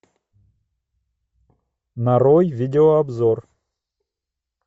нарой видеообзор